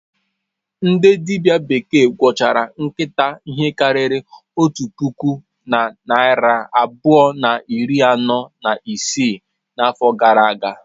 Ndị dibịa bekee gwọchara nkịta ihe karịrị otu puku na narị abụọ na iri anọ na isii n'afọ gara aga.